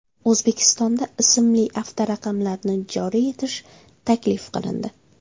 O‘zbekistonda ismli avtoraqamlarni joriy etish taklif qilindi .